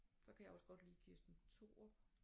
Så kan jeg også godt lide Kirsten Thorup